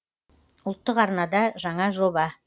ұлттық арнада жаңа жоба